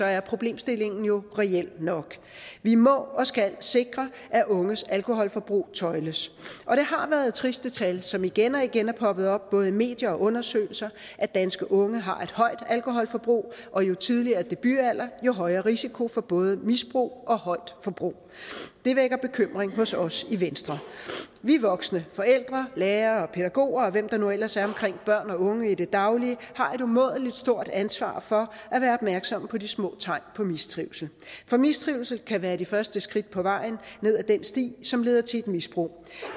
er problemstillingen jo reel nok vi må og skal sikre at unges alkoholforbrug tøjles og det har været triste tal som igen og igen er poppet op både i medier og undersøgelser at danske unge har et højt alkoholforbrug og jo tidligere debutalder jo højere risiko for både misbrug og højt forbrug det vækker bekymring hos os i venstre vi voksne forældre lærere pædagoger og hvem der nu ellers er omkring børn og unge i det daglige har et umådelig stort ansvar for at være opmærksomme på de små tegn på mistrivsel for mistrivsel kan være de første skridt på vejen ned ad den sti som leder til et misbrug